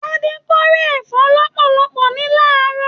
Tade k'ore ẹfọ lọpọlọpọ ní laarọ.